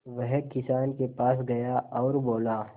वह किसान के पास गया और बोला